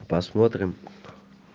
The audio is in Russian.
посмотрим